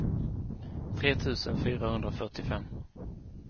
tre tusen fyrahundrafyrtiofem